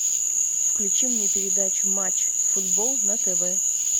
включи мне передачу матч футбол на тв